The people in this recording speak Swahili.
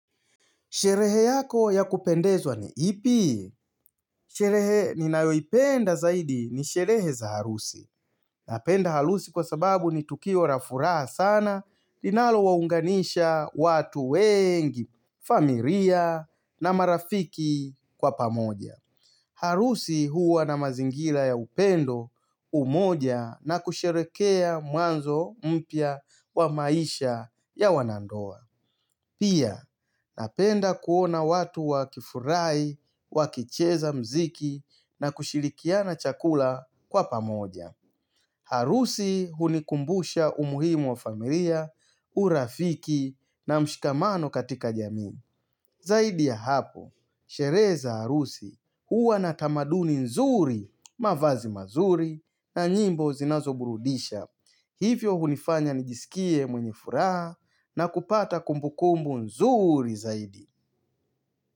Sherehe yako ya kupendezwa ni ipi? Sherehe ninayoipenda zaidi ni sherehe za harusi. Napenda harusi kwa sababu ni tukio la furaha sana, linalowaunganisha watu wengi, familia na marafiki kwa pamoja. Harusi huwa na mazingira ya upendo umoja na kusherekea mwanzo mpya wa maisha ya wanandoa. Pia, napenda kuona watu wakifurahi, wakicheza mziki na kushirikiana chakula kwa pamoja. Harusi hunikumbusha umuhimu wa familia, urafiki na mshikamano katika jamii. Zaidi ya hapo, sherehe za harusi huwa na tamaduni nzuri, mavazi mazuri na nyimbo zinazoburudisha. Hivyo hunifanya nijisikie mwenye furaha na kupata kumbukumbu nzuri zaidi.